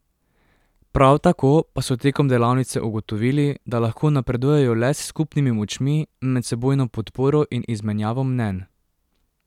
Prav tako pa so tekom delavnice ugotovili, da lahko napredujejo le s skupnimi močmi, medsebojno podporo in izmenjavo mnenj.